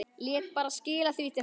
Lét bara skila því til hans!